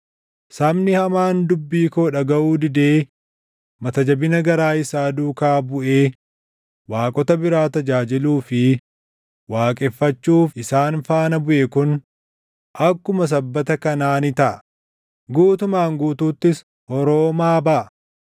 Sabni hamaan dubbii koo dhagaʼuu didee mata jabina garaa isaa duukaa buʼee waaqota biraa tajaajiluu fi waaqeffachuuf isaan faana buʼe kun akkuma sabbata kanaa ni taʼa; guutumaan guutuuttis horoomaa baʼa.